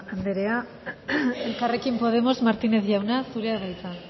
anderea elkarrekin podemos martínez jauna zurea da hitza